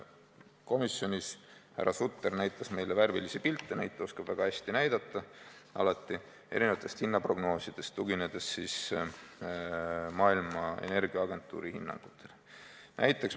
Komisjonis näitas härra Sutter meile värvilisi pilte – neid oskab ta alati väga hästi näidata – erinevatest hinnaprognoosidest, tuginedes maailma energiaagentuuri hinnangutele.